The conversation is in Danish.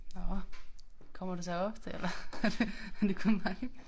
Nåh kommer du så her ofte eller er det er det kun mig